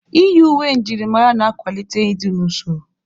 Iyi uwe njirimara na-akwalite ịdị n'usoro.